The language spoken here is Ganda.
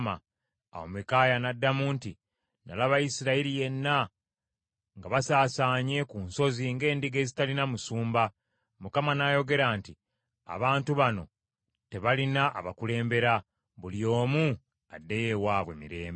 Awo Mikaaya n’addamu nti, “Nalaba Isirayiri yenna, nga basaasaanye ku nsozi ng’endiga ezitalina musumba, Mukama n’ayogera nti, ‘Abantu bano tebalina abakulembera, buli omu addeyo ewaabwe mirembe.’ ”